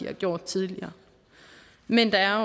har gjort tidligere men der er